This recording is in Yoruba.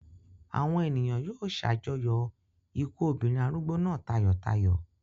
Àwọn ènìyàn yóò ṣàjọyọ̀ ikú obìnrin arúgbó náà tayọ̀tayọ̀.